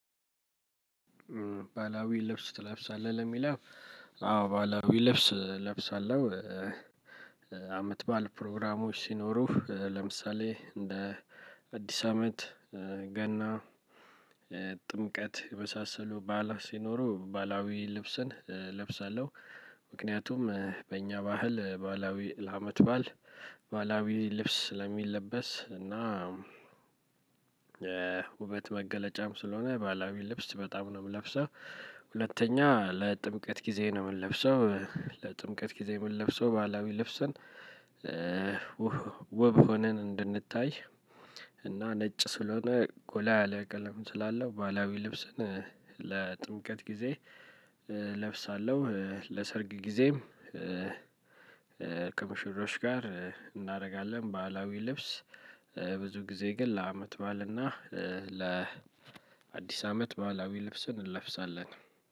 ባህላዊ ልብስ ትለብሳለህ ለሚለው? አዎ ባህላዊ ልብስ እለብሳለሁ። አመት በዓል ፕሮግራሞች ሲኖሩ ለምሳሌ እንደ አዲስ አመት ገና ጥምቀት የመሳሰሉ በዓላት ሲኖሩ ባህላዊ ልብስን እለብሳለሁ። ምክንያቱም በእኛ ባህል ባህላዊ ለአመት በዓል ባህላዊ ልብስ ስለሚለበስ እና የውበት መገለጫም ስለሆነ ባህላዊ ልብስ በጣም ነው የምለብሰው። ሁለተኛ ለጥምቀት ጊዜ ነው የምለብሰው። ለጥምቀት ጊዜ የምለብሰው ባህላዊ ልብስን። ውብ ሆነን እንድንታይ። እና ነጭ ስለሆነ ጎላ ያለ ቀለም ስላለው ባህላዊ ልብስን ለጥምቀት ጊዜ እለብሳለሁ። ለሰርግ ጊዜም ከሙሽሮች ጋር እናደርጋለን ባህላዊ ልብስ። ብዙ ጊዜ ግን ለአመት በዓል እና ለአዲስ አመት ባህላዊ ልብስን እንለብሳለን።